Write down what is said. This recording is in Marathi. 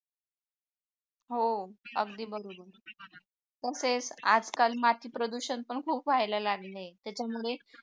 हो अगदी बरोबर पण तेच आजकाल माती प्रदूषण खूप व्हायला लागले आहे त्याच्यामुळे